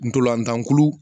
Ntolantan kulu